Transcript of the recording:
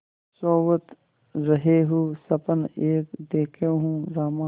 सोवत रहेउँ सपन एक देखेउँ रामा